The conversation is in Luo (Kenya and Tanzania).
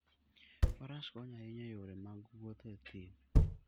Faras konyo ahinya e yore mag wuoth e thim.